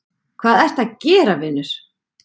hvað ertu að gera vinur????